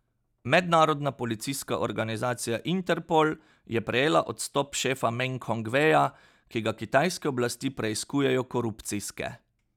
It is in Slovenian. Mednarodna policijska organizacija Interpol je prejela odstop šefa Meng Hongveja, ki ga kitajske oblasti preiskujejo korupcijske.